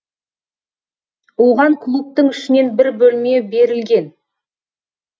оған клубтың ішінен бір бөлме берілген